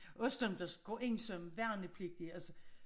Også dem der går ind som værnepligtige altså